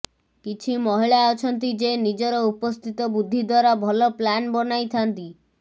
କିଛି ମହିଳା ଅଛନ୍ତି ଯେ ନିଜର ଉପସ୍ଥିତ ବୁଦ୍ଧି ଦ୍ୱାରା ଭଲ ପ୍ଲାନ ବନାଇଥାଆନ୍ତି